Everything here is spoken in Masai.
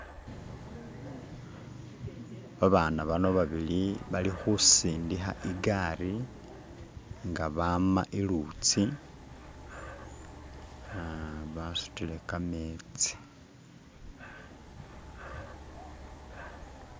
babaana bano babili bali husindiha igari nga baama ilutsi nga basutile kametsi